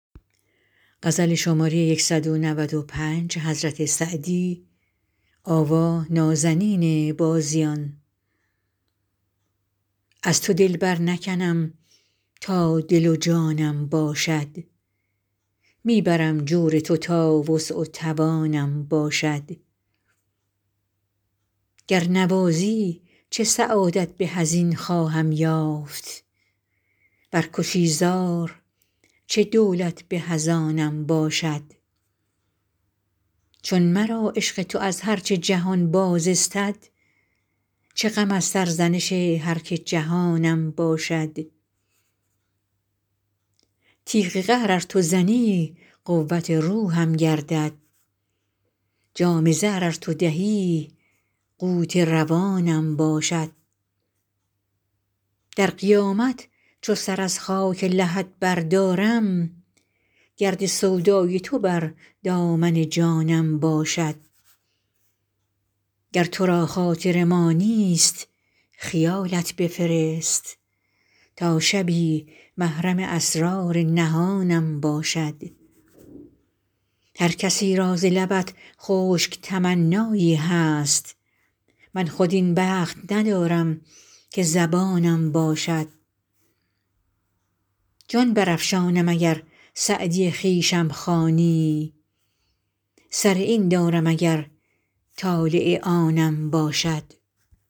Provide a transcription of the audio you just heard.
از تو دل برنکنم تا دل و جانم باشد می برم جور تو تا وسع و توانم باشد گر نوازی چه سعادت به از این خواهم یافت ور کشی زار چه دولت به از آنم باشد چون مرا عشق تو از هر چه جهان باز استد چه غم از سرزنش هر که جهانم باشد تیغ قهر ار تو زنی قوت روحم گردد جام زهر ار تو دهی قوت روانم باشد در قیامت چو سر از خاک لحد بردارم گرد سودای تو بر دامن جانم باشد گر تو را خاطر ما نیست خیالت بفرست تا شبی محرم اسرار نهانم باشد هر کسی را ز لبت خشک تمنایی هست من خود این بخت ندارم که زبانم باشد جان برافشانم اگر سعدی خویشم خوانی سر این دارم اگر طالع آنم باشد